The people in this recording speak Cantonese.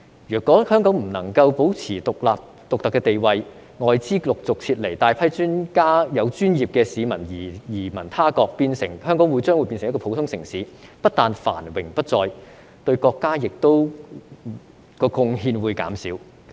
如果香港不能夠保持獨特的地位，外資陸續撤離及大批有專業資格的市民移民他國，香港將會變成普通城市，不但繁榮不再，對國家的貢獻亦會減少。